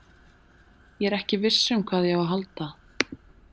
Ég er ekki viss hvað ég á að halda.